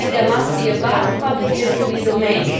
is why there must be a vast public literary domain.